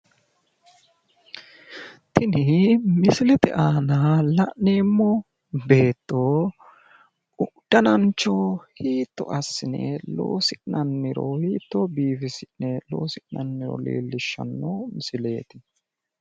Tini misilete aana la'neemmo beetto danancho hiitto assine loosi'nanniro hittoo biifisi'ne loosi'nanniro leellishanno misileeti